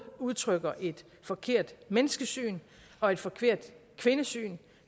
udtrykker et forkert menneskesyn og et forkert kvindesyn